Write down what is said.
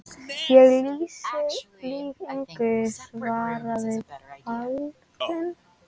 Ég lýg engu, svaraði Baldvin.